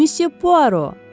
Misya Puaro.